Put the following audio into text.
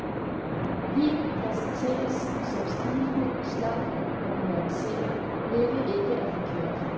Vinen præsenteres som stilfuld, slank og nuanceret, hvilket ikke er forkert.